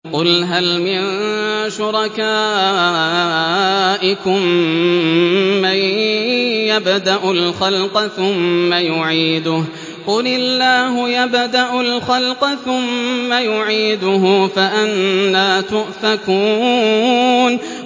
قُلْ هَلْ مِن شُرَكَائِكُم مَّن يَبْدَأُ الْخَلْقَ ثُمَّ يُعِيدُهُ ۚ قُلِ اللَّهُ يَبْدَأُ الْخَلْقَ ثُمَّ يُعِيدُهُ ۖ فَأَنَّىٰ تُؤْفَكُونَ